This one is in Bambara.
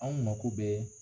An mako bɛ